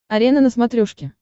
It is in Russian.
арена на смотрешке